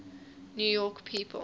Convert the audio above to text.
new york people